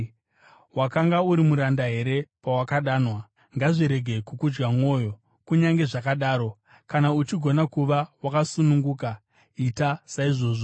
Wakanga uri muranda here pawakadanwa? Ngazvirege kukudya mwoyo; kunyange zvakadaro, kana uchigona kuva wakasununguka, ita saizvozvo.